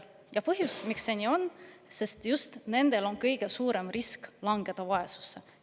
Ja põhjus, miks see nii on: sest just nendel on kõige suurem risk langeda vaesusesse.